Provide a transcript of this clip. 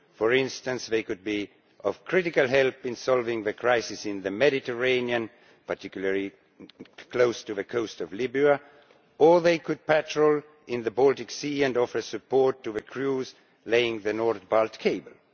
For instance, they could be of critical help in solving the crisis in the Mediterranean, particularly close to the coast of Libya, or they could patrol in the Baltic Sea and offer support to the crews laying the NordBalt cable.